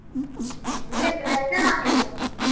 ಹ್ಮ್ ನೀವೆಂತ veg ಅ non veg ಅ?